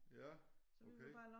Ja okay